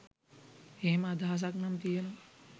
එහෙම අදහසක් නම් තියෙනවා.